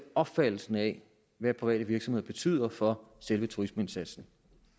opfattelsen af hvad private virksomheder betyder for selve turismeindsatsen